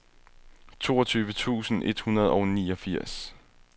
toogtyve tusind et hundrede og niogfirs